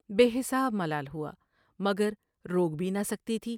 بے حساب ملال ہوا مگر روک بھی نہ سکتی تھی ۔